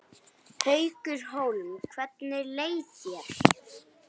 Haukur Hólm: Hvernig leið þér?